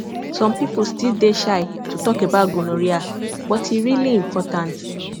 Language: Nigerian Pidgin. some people still dey shy to talk about gonorrhea but e really important